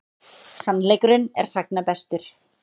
Sannleikurinn er sagna bestur.